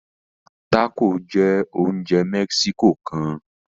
Tacos jẹ oúnjẹ Mexico kán